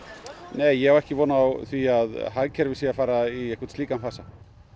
nei ég á ekki von á því að hagkerfið sé að fara í slíkan fasa